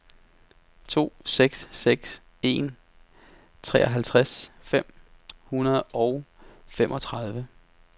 to seks seks en treoghalvtreds fem hundrede og femogtredive